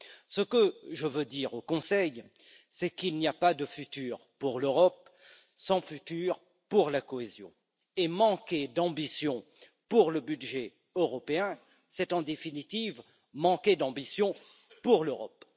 Ce que je veux dire au Conseil, c'est qu'il n'y a pas d'avenir pour l'Europe sans avenir pour la cohésion, et manquer d'ambition pour le budget européen, c'est en définitive manquer d'ambition pour l'Europe.